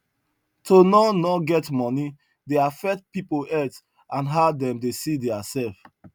to no no get moni dey affect people health and how dem dey see their self